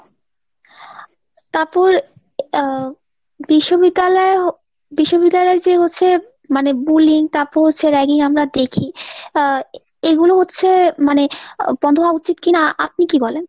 তাপর আহ বিশ্ববিদ্যালয়~ বিশ্ববিদ্যালয় যে হচ্ছে মানে bulling তাপ্পর হচ্ছে ragging আমরা দেখি। আহ এইগুলো হচ্ছে মানে বন্ধ হওয়া উচিত কিনা আপনি কি বলেন ?